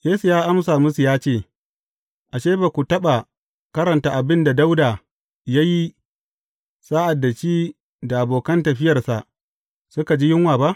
Yesu ya amsa musu ya ce, Ashe, ba ku taɓa karanta abin da Dawuda ya yi, sa’ad da shi da abokan tafiyarsa suka ji yunwa ba?